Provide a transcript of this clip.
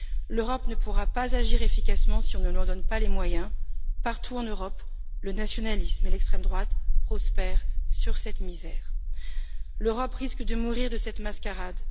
L'Europe ne pourra pas agir efficacement si on ne lui en donne pas les moyens. Partout en Europe, le nationalisme et l'extrême droite prospèrent sur cette misère. L'Europe risque de mourir de cette mascarade.